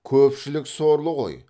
көпшілік сорлы ғой